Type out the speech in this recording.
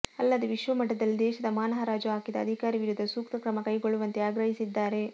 ಅಲ್ಲದೆ ವಿಶ್ವಮಟ್ಟದಲ್ಲಿ ದೇಶದ ಮಾನ ಹರಾಜು ಹಾಕಿದ ಅಧಿಕಾರಿ ವಿರುದ್ಧ ಸೂಕ್ತ ಕ್ರಮ ಕೈಗೊಳ್ಳುವಂತೆ ಆಗ್ರಹಿಸಿದ್ದಾರೆ